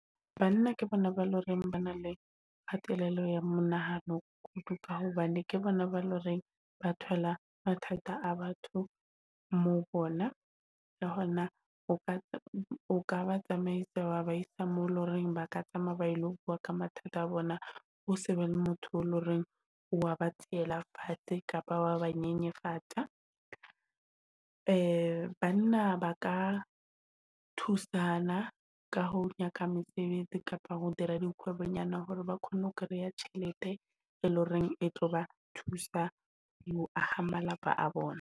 Banna ke bona ba e loreng ba na le kgatello ya monahano kudu. Ka hobane ke bona ba loreng ba thola mathata a batho mo bona le hona o ka ba tsamaisa waba isa mo e loreng ba ka tsamaya ba ilo bua ka mathata a bona. Ho se be le motho le hore wa ba tseela fatshe kapa wa ba nyenyefatsa. Banna ba ka thusana ka ho nyaka mesebetsi kapa ho dira dikgwebo-nyana hore ba kgone ho kreya tjhelete, e leng horeng e tlo ba thusa ho aha malapa a bona.